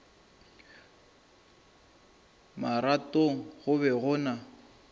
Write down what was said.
marothong go be go na